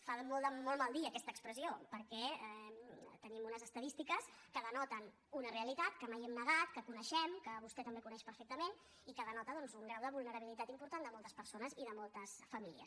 fa de molt mal dir aquesta expressió perquè tenim unes estadístiques que denoten una realitat que mai hem negat que coneixem que vostè també coneix perfectament i que denota doncs un grau de vulnerabilitat important de moltes persones i de moltes famílies